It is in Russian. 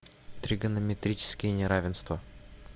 тригонометрические неравенства